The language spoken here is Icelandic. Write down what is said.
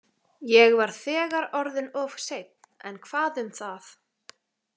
Ég var þegar orðinn of seinn, en hvað um það?